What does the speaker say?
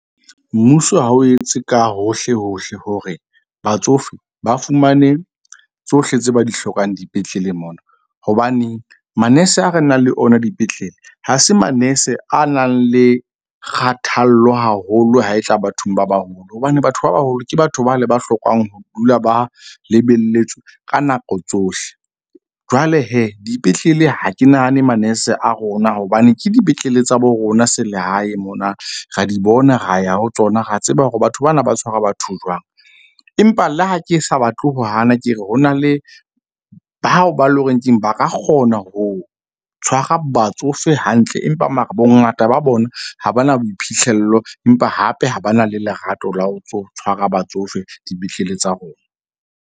Mmuso ha o etse ka hohle hohle hore batsofe ba fumane tsohle tse ba di hlokang dipetleleng mona. Hobane manese a re nang le ona dipetlele ha se manese a nang le kgathallo haholo ha e tla bathong ba baholo. Hobane batho ba baholo ke batho ba le ba hlokang ho dula ba lebelletswe ka nako tsohle. Jwale dipetlele ha ke nahane manese a rona. Hobane ke dipetlele tsa bo rona selehae mona ra di bona, ra ya ho tsona, ra tseba hore batho bana na ba tshwara batho jwang. Empa le ha ke sa batle ho hana ke re, ho na le bao ba eleng hore keng ba ka kgona ho tshwara batsofe hantle. Empa mara bongata ba bona ha ba na boiphihlello, empa hape ha ba na le lerato la ho ntso tshwara batsofe dipetlele tsa rona.